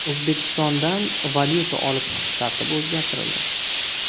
O‘zbekistondan valyuta olib chiqish tartibi o‘zgartirildi.